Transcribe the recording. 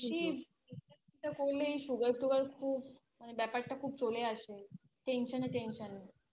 বেশি চিন্তা টিন্তা করলে এই Sugar tugar খুব মানে ব্যাপারটা খুব চলে আসে Tension এ Tension এ